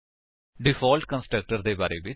default constructor ਦੇ ਬਾਰੇ ਵਿੱਚ